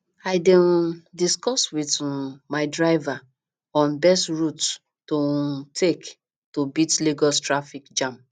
i dey um discuss with um my driver on best route to um take to beat lagos traffic jam